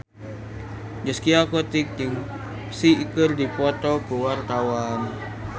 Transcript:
Zaskia Gotik jeung Psy keur dipoto ku wartawan